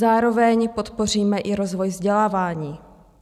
Zároveň podpoříme i rozvoj vzdělávání.